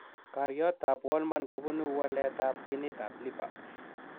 Koriotoab Wolman kobunu waletab ginitab LIPA.